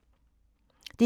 DR2